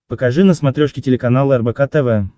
покажи на смотрешке телеканал рбк тв